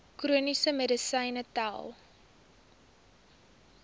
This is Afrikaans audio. chroniese medisyne tel